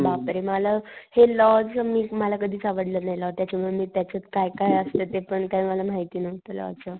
बापरे मला हे लॉ च म मी मला कधीच आवडल नाही लॉ त्याच्या मूळ त्याच्यात काय काय असत ते पण काय मला माहिती नहूतं लॉ च.